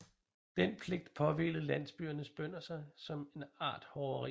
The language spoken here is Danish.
Den pligt påhvilede landsbyernes bønder som en art hoveri